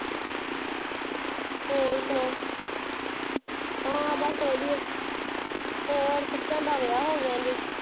ਹੋਰ ਸੁਨਾ ਹਾਂ ਸਬ ਵਾਦਿਯ ਹੋਰ ਸਚਾਨ ਦਾ ਵਿਆਹ ਹੋ ਗਯਾ